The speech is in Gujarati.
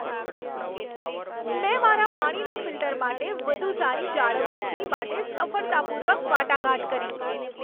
મેં મારા પાણીના ફિલ્ટર માટે વધુ સારી જાળવણી ફી માટે સફળતાપૂર્વક વાટાઘાટ કરી.